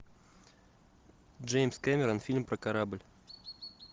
джеймс кэмерон фильм про корабль